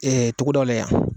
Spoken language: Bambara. togodaw la yan.